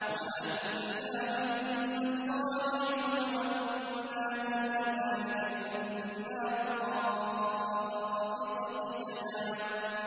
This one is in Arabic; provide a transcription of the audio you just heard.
وَأَنَّا مِنَّا الصَّالِحُونَ وَمِنَّا دُونَ ذَٰلِكَ ۖ كُنَّا طَرَائِقَ قِدَدًا